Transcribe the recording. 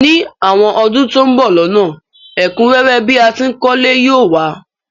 Ní àwon odún to n bo lónà, ẹ̀kúnrẹ́rẹ́ bi a tìí kólé yi o wa